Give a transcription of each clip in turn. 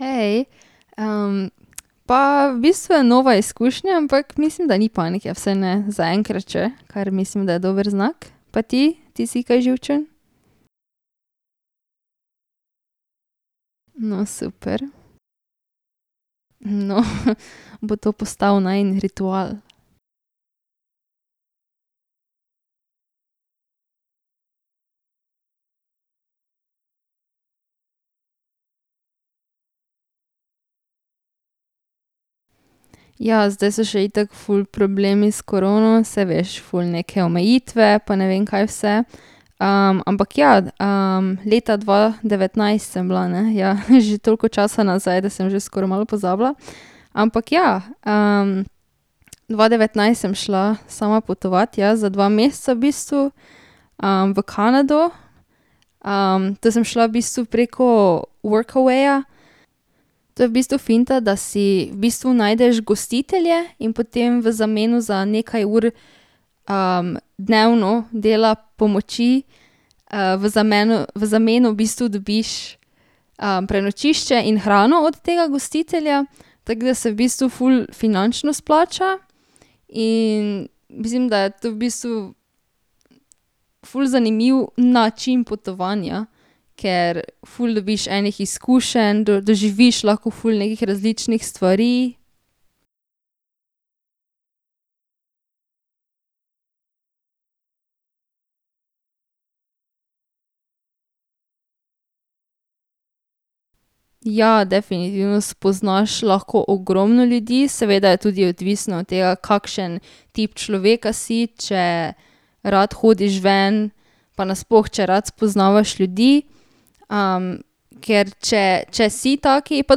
Hej, pa v bistvu je nova izkušnja, ampak mislim, da ni panike, vsaj ne zaenkrat še, kar mislim, da je dober znak. Pa ti? Ti si kaj živčen? No, super. No, bo to postal najin ritual. Ja, zdaj so še itak ful problemi s korono, saj veš, ful neke omejitve pa ne vem, kaj vse. ampak, ja. leta dva devetnajst sem bila, ne? Ja že toliko časa nazaj, da sem že skoro malo pozabila. Ampak, ja, dva devetnajst sem šla sama potovat, ja, za dva meseca v bistvu. v Kanado. to sem šla v bistvu preko Workawaya. To je v bistvu finta, da si v bistvu najdeš gostitelje in potem v zameno za nekaj ur, dnevno dela, pomoči, v v zameno v bistvu dobiš, prenočišče in hrano od tega gostitelja, tako da se v bistvu ful finančno izplača, in mislim, da je tu v bistvu ful zanimiv način potovanja, ker ful dobiš enih izkušenj, doživiš lahko ful nekih različnih stvari. Ja, definitivno spoznaš lahko ogromno ljudi, seveda je tudi odvisno od tega, kakšen tip človeka si, če rad hodiš ven pa nasploh, če rad spoznavaš ljudi, ker če, če si tak, pa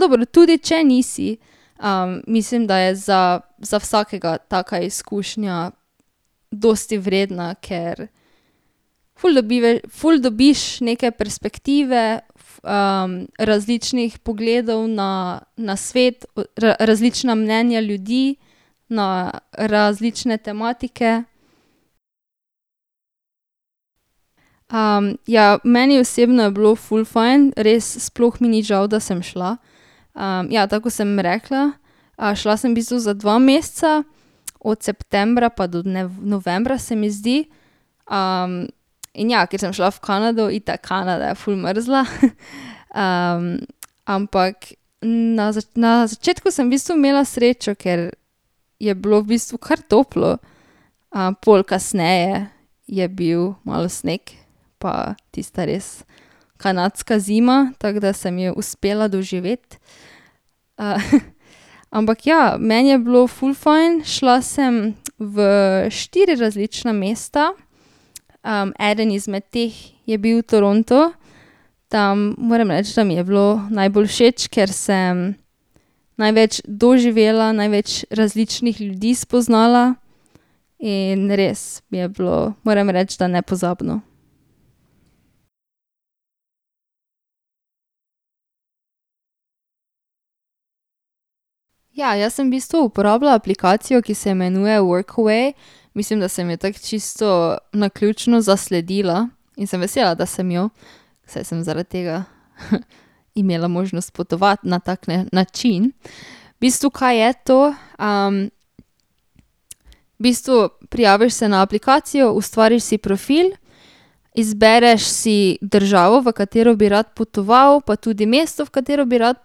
dobro, tudi če nisi, mislim, da je za, za vsakega taka izkušnja dosti vredna, ker ful ful dobiš neke perspektive različnih pogledov na, na svet, različna mnenja ljudi na različne tematike. ja, meni osebno je bilo ful fajn, res sploh mi ni žal, da sem šla. ja tako, kot sem rekla, šla sem v bistvu za dva meseca. Od septembra pa do novembra, se mi zdi. ... In ja, ker sem šla v Kanado, itak Kanada je ful mrzla, ampak na na začetku sem v bistvu imela srečo, ker je bilo v bistvu kar toplo, pol kasneje je bil malo sneg pa tista res kanadska zima, tak da sem jo uspela doživeti. ampak ja, meni je bilo ful fajn, šla sem v štiri različna mesta. eden izmed teh je bil Toronto, tam moram reči, da mi je bilo najbolj všeč, ker sem največ doživela, največ različnih ljudi spoznala in res mi je bilo, moram reči, da nepozabno. Ja, jaz sem v bistvu uporabljala aplikacijo, ki se imenuje Workaway, mislim, da sem jo tako čisto naključno zasledila, in sem vesela, da sem jo. Sej sem zaradi tega imela možnost potovati na tak, ne, način. V bistvu, kaj je to, v bistvu prijaviš se na aplikacijo, ustvariš si profil, izbereš si državo, v katero bi rad potoval, pa tudi mesto, v katero bi rad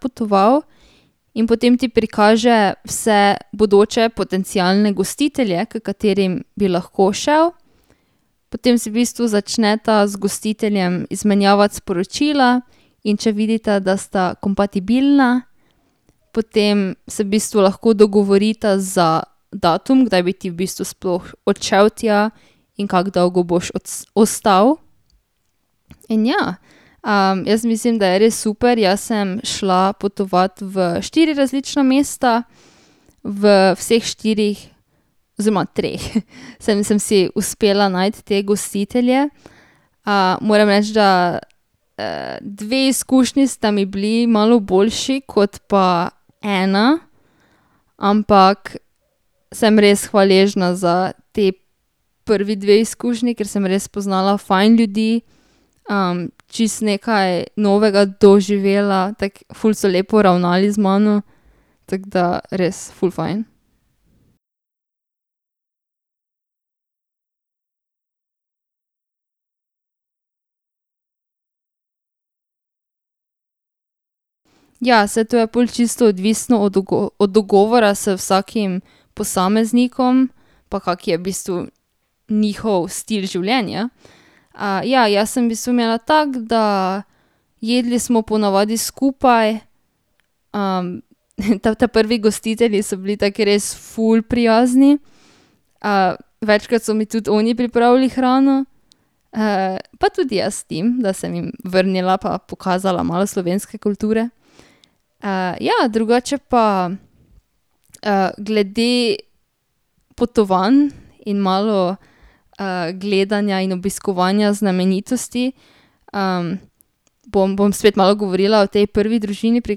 potoval, in potem ti prikaže vse bodoče potencialne gostitelje, k katerim bi lahko šel. Potem si v bistvu začneta z gostiteljem izmenjavati sporočila, in če vidita, da sta kompatibilna, potem se v bistvu lahko dogovorita za datum, kdaj bi ti v bistvu sploh odšel tja, in kako dolgo bi ostal. In ja, jaz mislim, da je res super, jaz sem šla potovat v štiri različna mesta. V vseh štirih mestih, oziroma treh, sem sem si uspela najti te gostitelje. moram reči, da, dve izkušnji sta mi bili malo boljši kot pa ena, ampak sem res hvaležna za ti prvi dve izkušnji, ker sem res spoznala fajn ljudi, čisto nekaj novega doživela, tako ful so lepo ravnali z mano, tako da res, ful fajn. Ja, saj to je pol čisto odvisno od od dogovora z vsakim posameznikom, pa kak je v bistvu njihov stil življenja. ja, jaz sem v bistvu imela, tako da jedli smo ponavadi skupaj, ta, ta prvi gostitelji so bili taki res ful prijazni, večkrat so mi tudi oni pripravili hrano, pa tudi jaz jim, da sem jim vrnila pa pokazala malo slovenske kulture. ja, drugače pa, glede potovanj in malo, gledanja in obiskovanja znamenitosti. bom, bom spet malo govorila o tej prvi družini, pri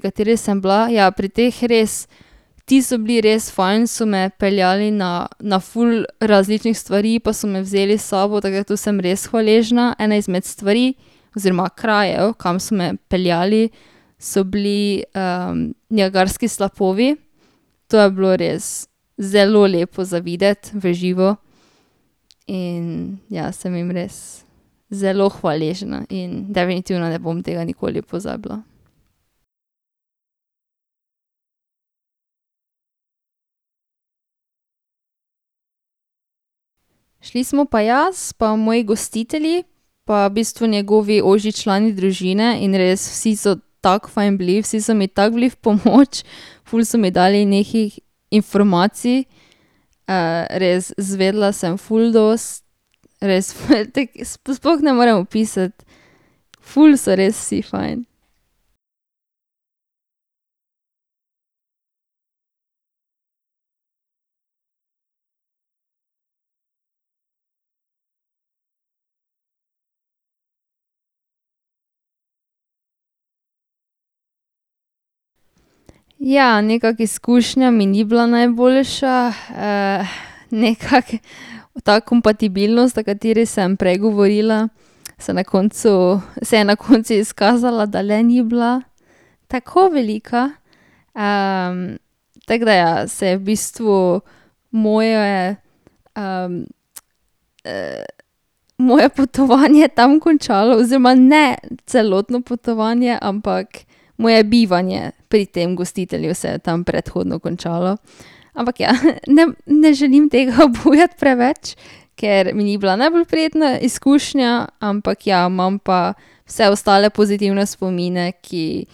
kateri sem bila, ja pri teh res, ti so bili res fajn, so me peljali na, na ful različnih stvari pa so me vzeli s sabo, tako da tu sem res hvaležna ena izmed stvari oziroma krajev, kam so me peljali, so bili, Niagarski slapovi. To je bilo res zelo lepo za videti v živo in ja, sem jim res zelo hvaležna in definitivno ne bom tega nikoli pozabila. Šli smo pa jaz pa moji gostitelji pa v bistvu njegovi ožji člani družine in res vsi so tako fajn bili, vsi so mi tako bili v pomoč, ful so mi dali nekih informacij, res izvedela sem ful dosti, res sploh ne morem opisati, ful so res vsi fajn. Ja, nekako izkušnja mi ni bila najboljša, nekako ta kompatibilnost, o kateri sem prej govorila, se na koncu, se je na koncu izkazala, da le ni bila tako velika, tako da, ja, se je v bistvu moje, moje potovanje tam končalo oziroma ne celotno potovanje, ampak moje bivanje pri tem gostitelju se je tam predhodno končalo. Ampak ja, ne, ne želim tega obujati preveč, ker mi ni bila najbolj prijetna izkušnja, ampak ja, imam pa vse ostale pozitivne spomine, ki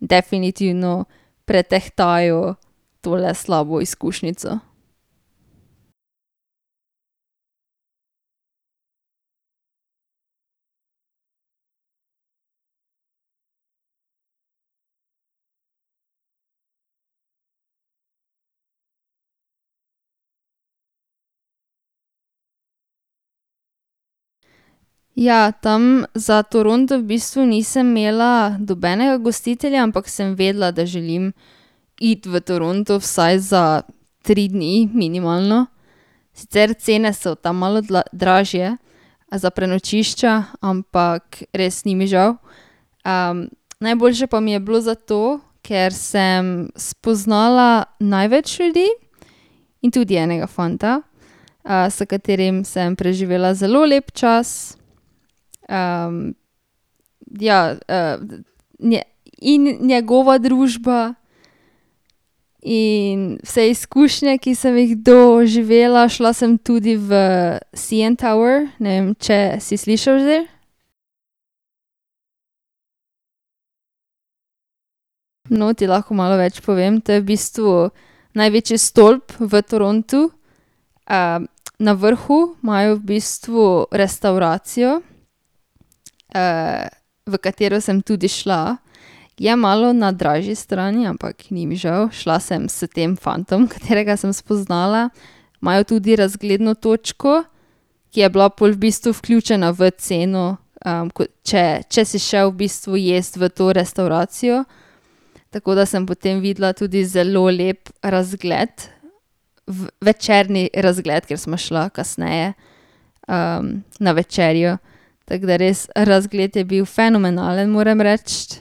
definitivno pretehtajo tole slabo izkušnjico. Ja, tam za Toronto v bistvu nisem imela nobenega gostitelja, ampak sem vedela, da želim iti v Toronto vsaj za tri dni, minimalno, sicer cene so tam malo dražje za prenočišča, ampak res ni mi žal. najboljše pa mi je bilo, zato ker sem spoznala največ ljudi in tudi enega fanta, s katerim sem preživela zelo lep čas ja, in njegova družba in vse izkušnje, ki sem jih doživela. Šla sem tudi v CN Tower, ne vem, če si slišal že? No, ti lahko malo več povem, to je v bistvu največji stolp v Torontu, na vrhu majo v bistvu restavracijo, v katero sem tudi šla. Je malo na dražji strani, ampak ni mi žal, šla sem s tem fantom, katerega sem spoznala. Imajo tudi razgledno točko, ki je bila pol v bistvu vključena v ceno, ko, če, če si šel v bistvu jest v to restavracijo. Tako da sem potem videla tudi zelo lep razgled večerni razgled, ker sva šla kasneje, na večerjo, tako da res razgled je bil fenomenalen, moram reči,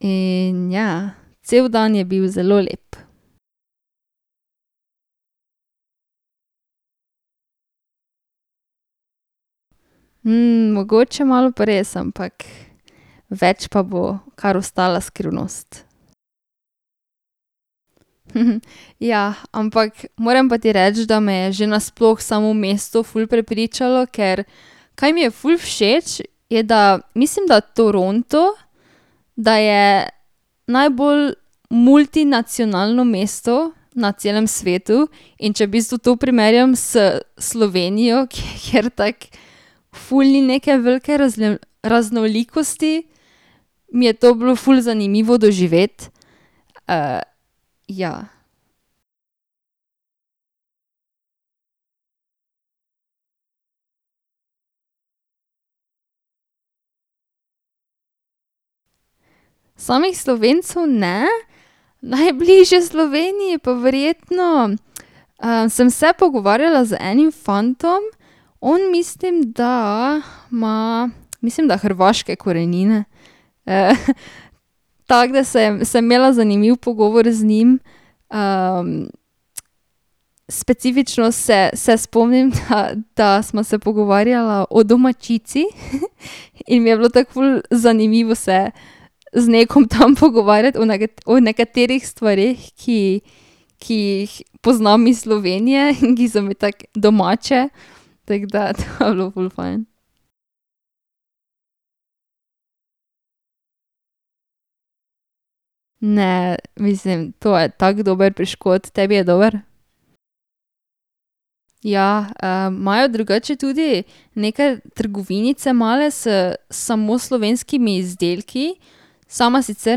in ja, cel dan je bil zelo lep. mogoče pa malo pa res, ampak več pa bo kar ostala skrivnost. Ja, ampak moram pa ti reči, da me je že nasploh samo mesto ful prepričalo, ker, kaj mi je ful všeč, je, da mislim, da Toronto, da je najbolj multinacionalno mesto na celem svetu, in če v bistvu to primerjam s Slovenijo, kjer tako ful ni neke velike raznolikosti, mi je to bilo ful zanimivo doživeti, ja. Samih Slovencev ne, najbližje Sloveniji pa verjetno, sem se pogovarjala z enim fantom. On mislim, da ima, mislim, da hrvaške korenine, tako da sem sem imela zanimiv pogovor z njim, specifično se se spomnim, da, da sva se pogovarjala o domaćici, in mi je bilo tako ful zanimivo se z nekom tam pogovarjati o o nekaterih stvareh, ki, ki jih poznam iz Slovenije in ki so mi tako domače, tako da to je bilo ful fajn. Ne, mislim to je tak dober piškot, tebi je dober? Ja, imajo drugače tudi neke trgovinice male s samo slovenskimi izdelki, sama sicer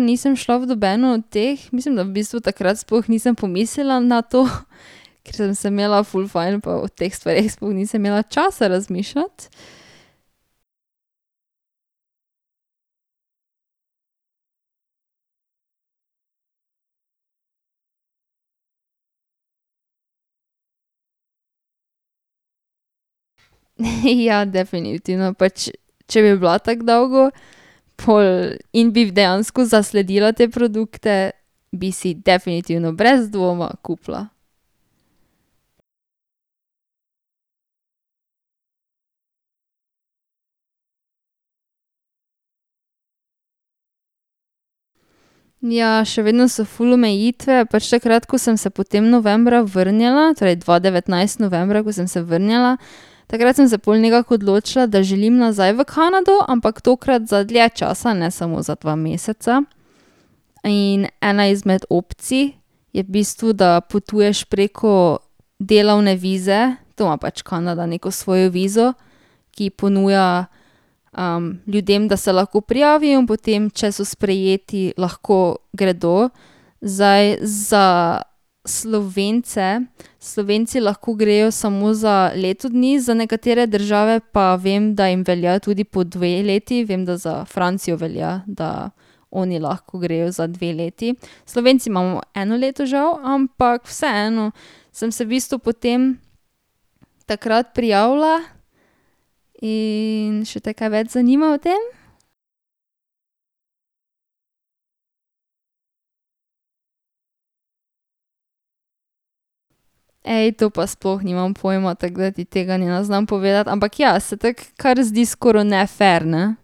nisem šla v nobeno od teh, mislim da v bistvu takrat sploh nisem pomislila na to, ker sem se imela ful fajn pa o teh stvareh sploh nisem imela časa razmišljati. Ja, definitivno pač, če bi bila tako dolgo, pol in bi dejansko zasledila te produkte, bi si definitivno brez dvoma kupila. Ja, še vedno so ful omejitve pač takrat, ko sem se potem novembra vrnila torej dva devetnajst novembra, ko sem se vrnila, takrat sem se pol nekako odločila, da želim nazaj v Kanado, ampak tokrat za dlje časa, ne samo za dva meseca, in ena izmed opcij je v bistvu, da potuješ preko delovne vize, to ima pač Kanada neko svojo vizo, ki ponuja, ljudem, da se lahko prijavijo in potem, če so sprejeti, lahko gredo. Zdaj za Slovence, Slovenci lahko grejo samo za leto dni, za nekatere države pa vem, da jim velja tudi po dve leti, vem, da za Francijo velja, da oni lahko grejo za dve leti. Slovenci imamo eno leto žal, ampak vseeno sem se v bistvu potem takrat prijavila. In še te kaj več zanima o tem? Ej, to pa sploh nimam pojma, tako da ti tega ne znam povedati, ampak ja se tako kar zdi skoro nefer ne.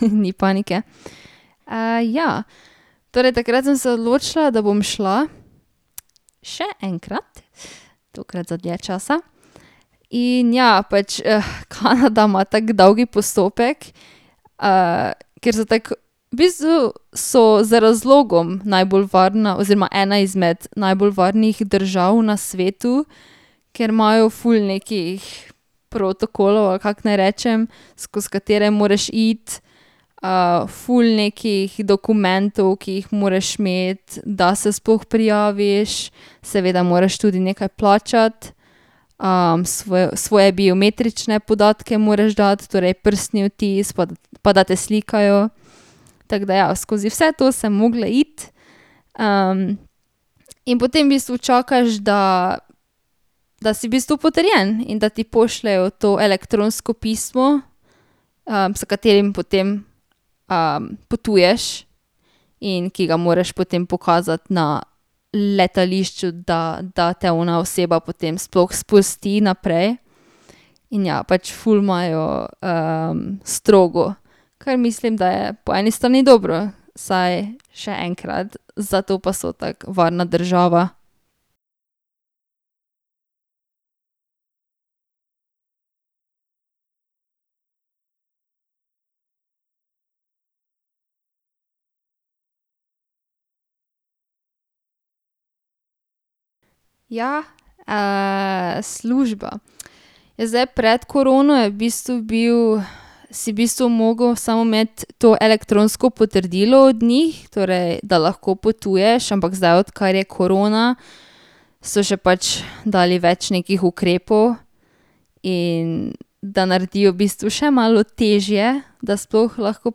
Ni panike. ja. Torej takrat sem se odločila, da bom šla še enkrat, tokrat za dlje časa. In ja pač Kanada ima tako dolg postopek, ker so tako, v bistvu so z razlogom najbolj varna oziroma ena izmed najbolj varnih držav na svetu, ker imajo ful nekih protokolov, ali kako naj rečem, skozi katere moraš iti, ful nekih dokumentov, ki jih moraš imeti, da se sploh prijaviš, seveda moraš tudi nekaj plačati. svoj svoje biometrične podatke moraš dati, torej prstni odtis pa da, pa da te slikajo, tako da ja. Skozi vse to sem mogla iti, in potem v bistvu čakaš, da, da si v bistvu potrjen in da ti pošljejo to elektronsko pismo, s katerim potem, potuješ in ki ga moraš potem pokazati na letališču, da, da te ona oseba potem sploh spusti naprej. In ja pač ful imajo, strogo, ker mislim, da je po eni strani dobro, saj še enkrat, zato pa so tako varna država. Ja, služba, ja, zdaj pred korono je v bistvu bil, si v bistvu mogel samo imeti to elektronsko potrdilo od njih, torej da lahko potuješ, ampak zdaj, odkar je korona, so še pač dali več nekih ukrepov, in da naredijo v bistvu še malo težje, da sploh lahko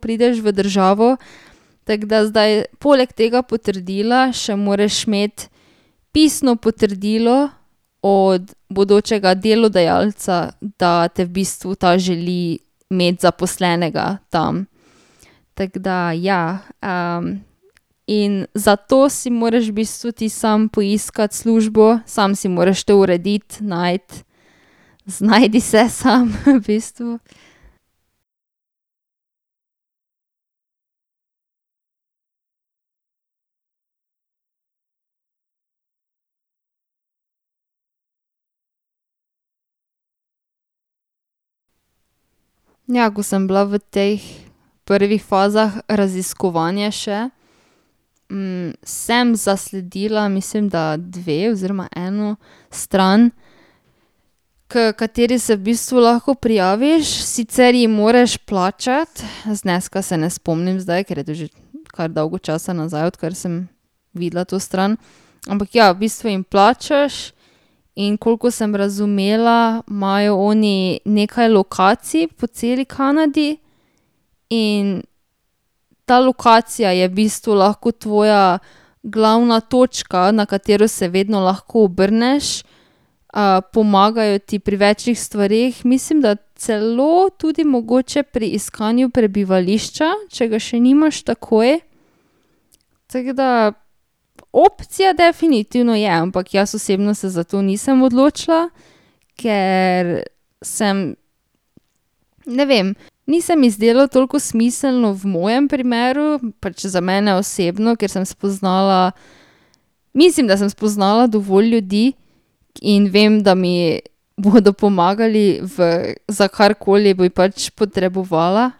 prideš v državo, tako da zdaj poleg tega potrdila še moraš imeti pisno potrdilo od bodočega delodajalca, da te v bistvu ta želi imeti zaposlenega tam. Tako da, ja, In zato si moraš v bistvu ti sam poiskati službo, samo si moraš to urediti, najti, znajdi se sam v bistvu. Ja, ko sem bila v teh prvih fazah raziskovanja še, sem zasledila, mislim, da dve oziroma eno stran, h kateri se v bistvu lahko prijaviš, sicer jim moraš plačati, zneska se ne spomnim zdaj, ker je to že kar dolgo časa nazaj, odkar sem videla to stran, ampak, ja, v bistvu jim plačaš in koliko sem razumela, imajo oni nekaj lokacij po celi Kanadi in ta lokacija je v bistvu lahko tvoja glavna točka, na katero se vedno lahko obrneš. pomagajo ti pri več stvareh, mislim, da celo tudi mogoče pri iskanju prebivališča, če ga še nimaš takoj, tako da opcija definitivno je, ampak jaz osebno se za to nisem odločila, ker sem, ne vem, ni se mi zdelo toliko smiselno v mojem primeru, pač za mene osebno, ker sem spoznala, mislim, da sem spoznala dovolj ljudi, in vem, da mi bodo pomagali v, za karkoli bi pač potrebovala.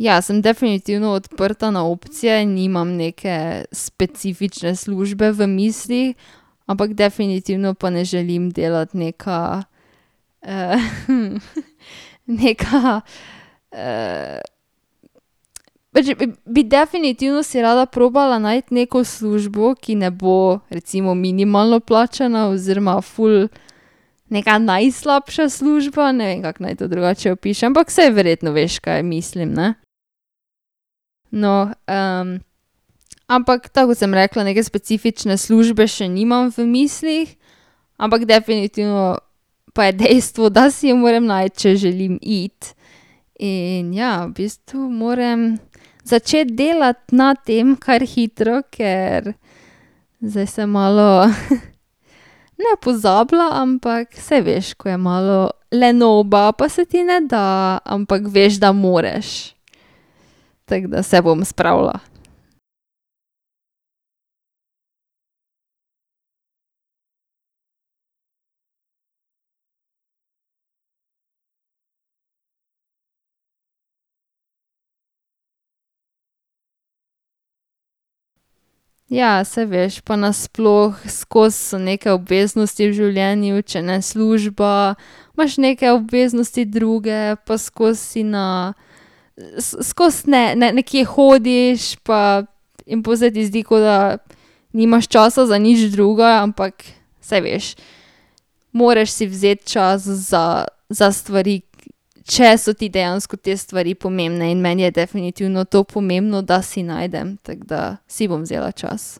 Ja, sem definitivno odprta na opcije, nimam neke specifične službe v mislih, ampak definitivno pa ne želim delati neka, neka, pač bi definitivno si rada probala najti neko službo, ki ne bo recimo minimalno plačana oziroma ful neka najslabša služba, ne vem, kako naj to drugače opišem, ampak saj verjetno veš, kaj mislim, ne. No, ampak tako, kot sem rekla, neke specifične službe še nimam v mislih, ampak definitivno pa je dejstvo, da si jo moram najti, če želim iti, in ja v bistvu moram začeti delati na tem kar hitro, ker zdaj se malo, ne pozabila, ampak saj veš, ko je malo lenoba, pa se ti ne da, ampak veš, da moraš, tako da se bom spravila. Ja, saj veš pa nasploh skozi so neke obveznosti v življenju, če ne služba, imaš neke obveznosti druge pa skozi si na, skozi, ne, ne nekje hodiš pa in pol se ti zdi, kot da nimaš časa za nič drugega, ampak saj veš, moraš si vzeti čas za, za stvari, če so ti dejansko te stvari pomembne, in meni je definitivno to pomembno, da si najdem, tako da si bom vzela čas.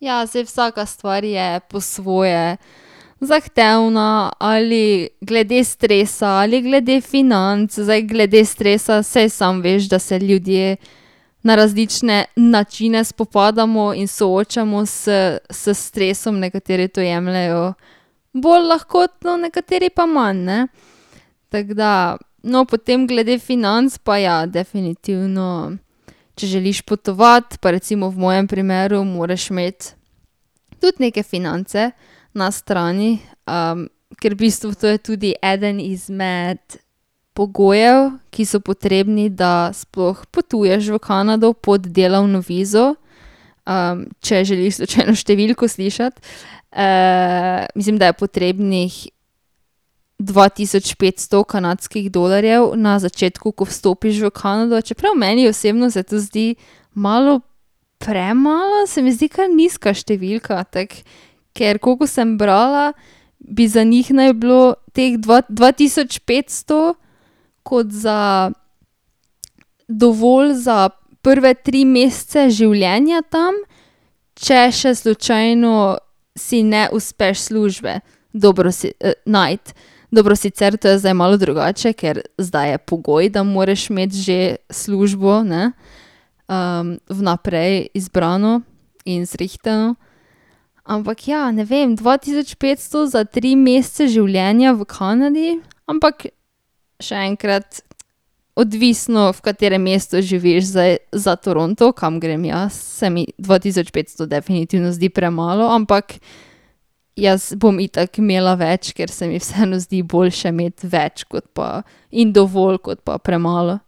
Ja, zdaj vsaka stvar je po svoje zahtevna, ali glede stresa, ali glede financ, zdaj glede stresa, saj sam veš, da se ljudje na različne načine spopadamo in soočamo s, s stresom, nekateri to jemljejo bolj lahkotno, nekateri pa manj, ne. Tako da, no, potem glede financ pa ja, definitivno, če želiš potovati, pa recimo v mojem primeru moraš imeti tudi neke finance na strani, ker v bistvu to je tudi eden izmed pogojev, ki so potrebni, da sploh potuješ v Kanado pod delovno vizo, če želiš slučajno številko slišati, mislim, da je potrebnih dva tisoč petsto kanadskih dolarjev na začetku, ko vstopiš v Kanado, čeprav meni osebno se to zdi malo, premalo, se mi zdi kar nizka številka tako, ker koliko sem brala, bi za njim naj bilo teh dva tisoč petsto kot za dovolj za prve tri mesece življenja tam, če še slučajno si ne uspeš službe dobro si najti. Dobro, sicer to je zdaj malo drugače, ker zdaj je pogoj, da moraš imeti že službo, ne, vnaprej izbrano in zrihtano, ampak ja, ne vem dva tisoč petsto za tri mesece življenja v Kanadi, ampak še enkrat odvisno, v katerem mestu živiš, zdaj za Toronto, kam grem jaz, se mi dva tisoč petsto definitivno zdi premalo, ampak jaz bom itak imela več, ker se mi vseeno zdi boljše imeti več kot pa in dovolj kot pa premalo.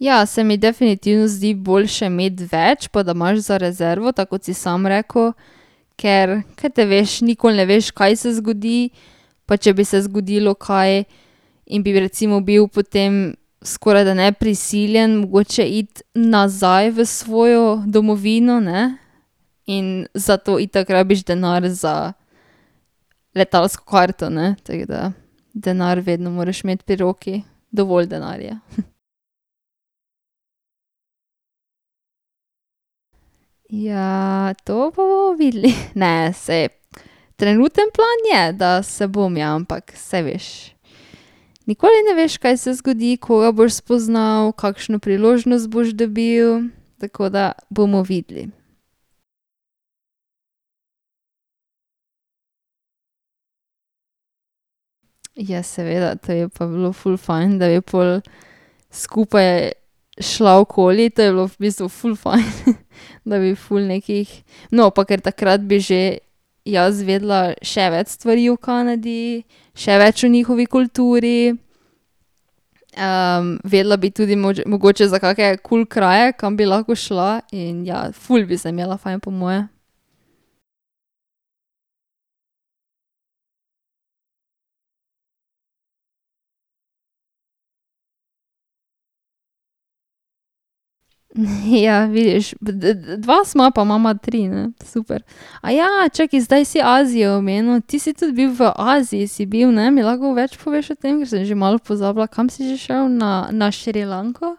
Ja, se mi definitivno zdi boljše imeti več pa da imaš za rezervo, tako kot si sam rekel, ker kaj te veš, nikoli ne veš, kaj se zgodi, pa če bi se zgodilo kaj, in bi recimo bil potem skoraj da ne prisiljen mogoče iti nazaj v svojo domovino, ne, in zato itak rabiš denar za letalsko karto, ne, tako da denar vedno moraš imeti pri roki, dovolj denarja. Ja, to bomo pa videli, ne, saj, trenuten plan je, da se bom, ja, ampak saj veš, nikoli ne veš, kaj se zgodi, koga boš spoznal, kakšno priložnost boš dobil, tako da bomo videli. Ja, seveda, to bi pa bilo ful fajn, da bi pol skupaj šla okoli, to bi bilo v bistvu ful fajn , da bi ful nekih no, pa ker takrat bi že jaz vedela še več stvari o Kanadi, še več o njihovi kulturi, vedela bi tudi mogoče za kake kul kraje, kam bi lahko šla in, ja, ful bi se imela fajn po moje. Ja, vidiš, dva sva, pa imava tri, ne, super. čakaj, zdaj si Azijo omenil, ti si tudi bil v Aziji, si bil, ne, mi lahko več poveš o tem, sem že malo pozabila, kam si že šel na, na Šrilanko?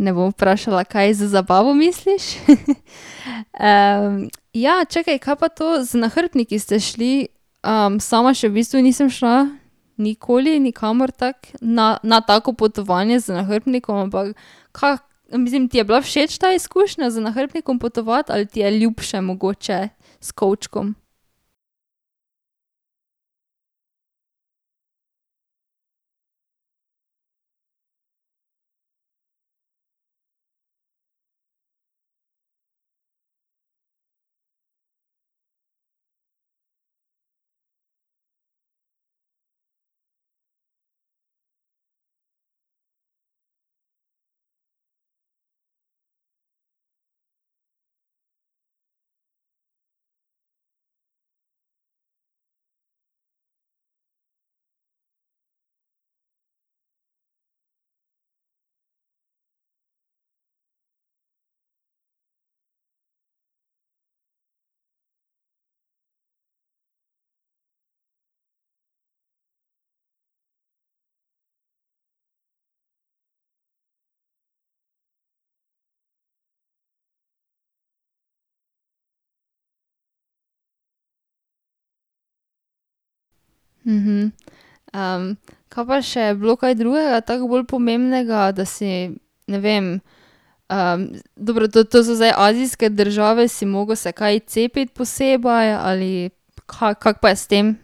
Ne bom vprašala, kaj z zabavo misliš, ja, čakaj, kaj pa to z nahrbtniki ste šli, sama še v bistvu nisem šla nikoli nikamor tako na, na tako potovanje z nahrbtnikom, ampak kaj, mislim, ti je bila všeč ta izkušnja z nahrbtnikom potovati ali ti je ljubše mogoče s kovčkom? kaj pa je še bilo drugega tako bolj pomembnega, da si, ne vem, dobro to, to so zdaj azijske države, si mogel se kaj cepiti posebej ali kaj, kako pa je s tem?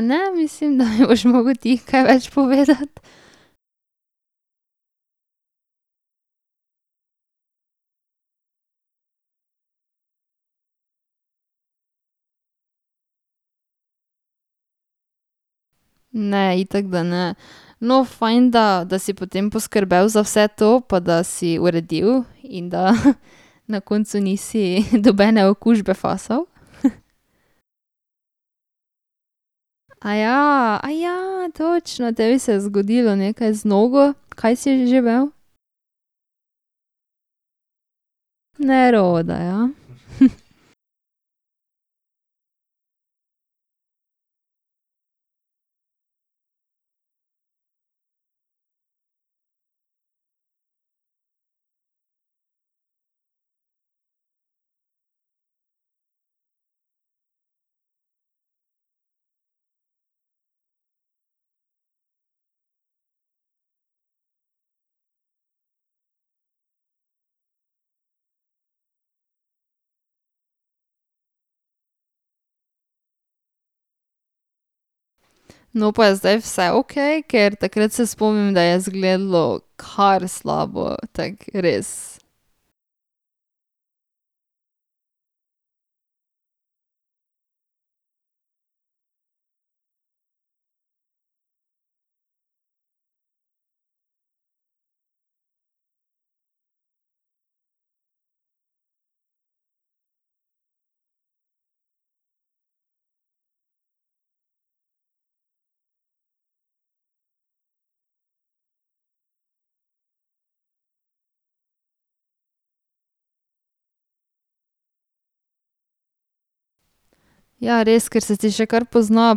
ne, mislim, da mi boš mogel ti kaj več povedati. Ne, itak, da ne. No, fajn, da da si potem poskrbel za vse to pa da si uredil in da na koncu nisi nobene okužbe fasal. točno tebi se je zgodilo nekaj z nogo, kaj si že mel? Neroda, ja. No, pa je zdaj vse okej, ker takrat se spomnim, da je izgledalo kar slabo, tako res. Ja, res, ker se ti še kar pozna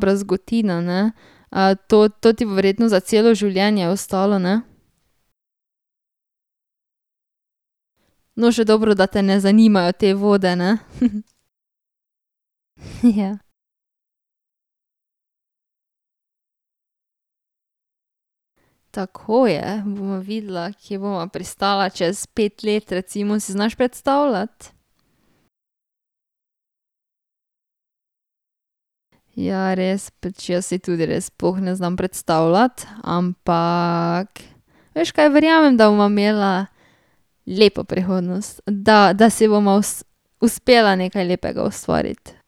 brazgotina, ne. to, to ti bo verjetno za celo življenje ostalo, ne? No, še dobro, da te ne zanimajo te vode, ne. Ja. Tako je, ja, bova videla, kje bova pristala čez pet let recimo, si znaš predstavljati? Ja, res pač jaz si tudi res sploh ne znam predstavljati, ampak veš kaj, verjamem, da bova imela lepo prihodnost, da si bova uspela nekaj lepega ustvariti.